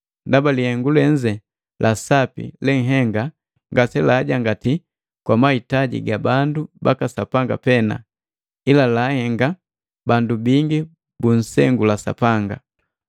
Ndaba jilihengu lenze la sapi lenhenga ngase laajangati kwa mahitaji ga bandu baka Sapanga pena, ila laahenga bandu bingi bunsengula Sapanga.